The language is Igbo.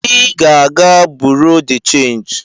I ga-aga buro de chanji!